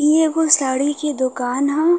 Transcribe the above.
इ एगो साड़ी के दुकान ह।